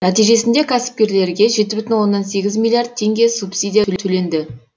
нәтижесінде кәсіпкерлерге жеті бүтін оннан сегіз миллиард теңге субсидия төленді